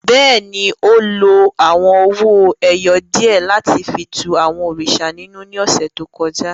Bẹ́ẹ̀ni, o lo awọn owo-ẹyẹ diẹ lati fi tú àwọn òrìṣà ninú ni ọsẹ to kọja.